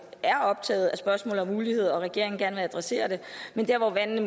er optaget af spørgsmålet om ulighed og at regeringen gerne vil adressere det men der hvor vandene